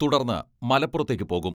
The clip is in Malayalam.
തുടർന്ന് മലപ്പുറത്തേയ്ക്ക് പോകും.